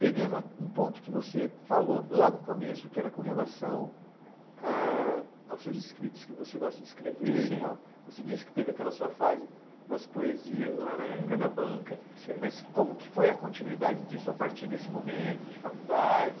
Pegando a, um ponto que você falou lá no começo, que era com relação, ãh... aos seus escritos, que você gosta de escrever e tal, você disse que teve aquela sua fase das poesias lá na época da banca, mas como que foi a continuidade disso a partir desse momento de faculdade?